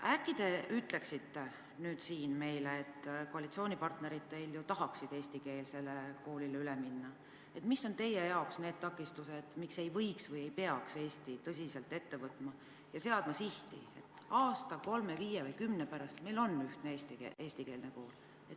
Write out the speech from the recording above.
Äkki te ütleksite nüüd siin meile – teie koalitsioonipartnerid ju tahaksid eestikeelsele koolile üle minna –, mis on teie jaoks need takistused, miks ei võiks või ei peaks Eesti tõsiselt ette võtma ja seadma sihti: aasta, kolme, viie või kümne pärast meil on ühtne eestikeelne kool.